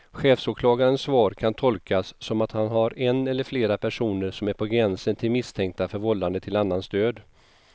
Chefsåklagarens svar kan tolkas som att han har en eller flera personer som är på gränsen till misstänkta för vållande till annans död.